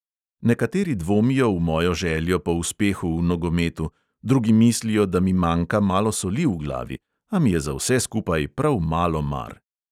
Nekateri dvomijo v mojo željo po uspehu v nogometu, drugi mislijo, da mi manjka malo soli v glavi, a mi je za vse skupaj prav malo mar.